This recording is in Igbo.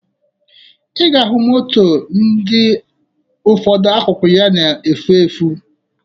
Ị ga-ahụ moto ndị ụfọdụ akụkụ ya na-efu efu